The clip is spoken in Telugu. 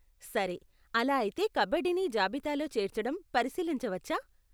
సరే, అలా అయితే కబడ్డీని జాబితాలో చేర్చేడం పరిశీలించవచ్చా?